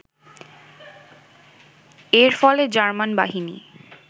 এর ফলে জার্মান বাহিনী